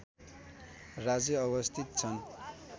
राज्य अवस्थित छन्